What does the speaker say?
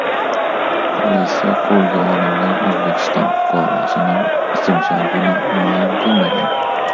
Politsiya qo‘lga olingan O‘zbekiston fuqarosining ismi-sharifini ma’lum qilmagan.